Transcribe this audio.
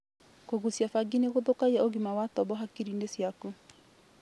Kũgucia bangi nĩgũthũkagia ũgima wa tombo hakiri ciaku